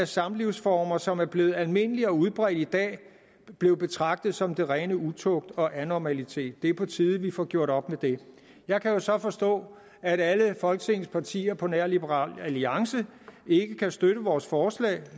samlivsformer som er blevet almindelige og udbredte i dag blev betragtet som den rene utugt og anormalitet det er på tide vi får gjort op med det jeg kan jo så forstå at alle folketingets partier på nær liberal alliance ikke kan støtte vores forslag